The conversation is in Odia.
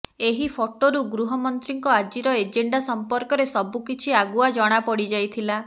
ଏହି ଫଟୋରୁ ଗୃହମନ୍ତ୍ରୀଙ୍କ ଆଜିର ଏଜେଣ୍ଡା ସମ୍ପର୍କରେ ସବୁକିଛି ଆଗୁଆ ଜଣା ପଡ଼ିଯାଇଥିଲା